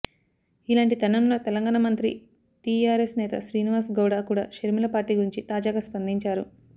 ఇలాంటి తరుణంలో తెలంగాణ మంత్రి టీఆర్ఎస్ నేత శ్రీనివాస్ గౌడ్ కూడా షర్మిల పార్టీ గురించి తాజాగా స్పందించారు